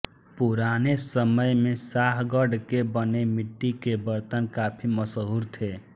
पुराने समय में शाहगढ़ के बने मिट्टी के बर्तन काफी मशहूर थे